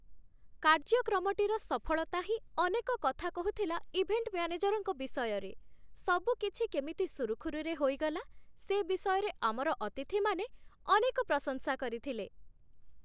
କାର୍ଯ୍ୟକ୍ରମଟିର ସଫଳତା ହିଁ ଅନେକ କଥା କହୁଥିଲା ଇଭେଣ୍ଟ ମ୍ୟାନେଜରଙ୍କ ବିଷୟରେ, ସବୁ କିଛି କେମିତି ସୁରୁଖୁରୁରେ ହୋଇଗଲା ସେ ବିଷୟରେ ଆମର ଅତିଥିମାନେ ଅନେକ ପ୍ରଶଂସା କରିଥିଲେ।